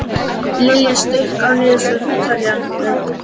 Liljá, slökktu á niðurteljaranum.